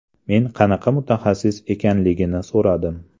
Men qanaqa mutaxassis ekanligini so‘radim.